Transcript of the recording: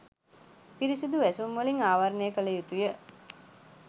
පිරිසුදු වැසුම් වලින් ආවරණය කළ යුතුය.